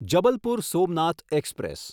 Jabalpur Somnath express